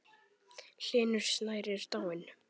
Hlynur Snær er dáinn.